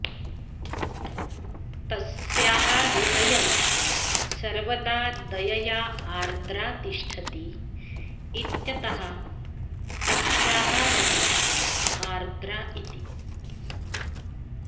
तस्याः हृदयं सर्वदा दयया आर्द्रा तिष्ठति इत्यतः तस्याः नाम आर्द्रा इति